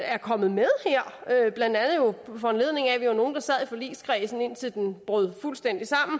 er kommet med her blandt andet jo på foranledning af at vi var nogle der sad i forligskredsen indtil den brød fuldstændig sammen